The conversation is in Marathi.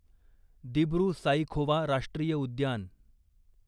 दिब्रु साईखोवा राष्ट्रीय उद्यान